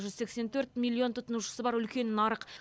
жүз сексен төрт миллион тұтынушысы бар үлкен нарық